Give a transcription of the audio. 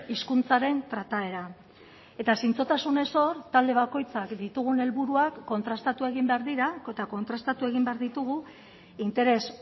hizkuntzaren trataera eta zintzotasunez hor talde bakoitzak ditugun helburuak kontrastatu egin behar dira eta kontrastatu egin behar ditugu interes